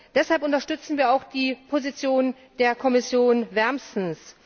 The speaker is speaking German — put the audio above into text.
Deshalb unterstützen wir auch die Position der Kommission wärmstens.